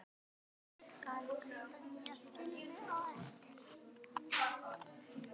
Ég skal kaupa nýja filmu á eftir.